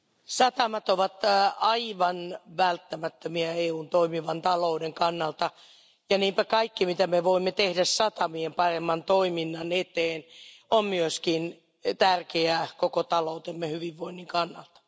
Arvoisa puhemies, satamat ovat aivan välttämättömiä EUn toimivan talouden kannalta, ja niinpä kaikki, mitä voimme tehdä satamien paremman toiminnan eteen, on myös tärkeää koko taloutemme hyvinvoinnin kannalta.